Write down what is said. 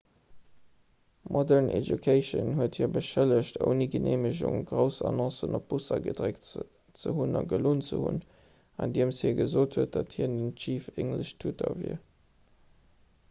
modern education huet hie beschëllegt ouni geneemegung grouss annoncen op busser gedréckt ze hunn a gelunn ze hunn andeem hie gesot huet datt hien den chief english tutor wier